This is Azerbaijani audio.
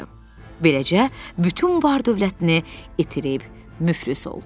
Beləcə bütün var-dövlətini itirib müflis oldu.